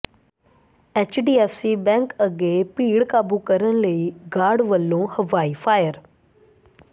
HDFC bank ਅੱਗੇ ਭੀੜ ਕਾਬੂ ਕਰਨ ਲਈ ਗਾਰਡ ਵੱਲੋਂ ਹਵਾਈ ਫਾਇਰ